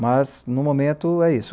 Mas, no momento, é isso.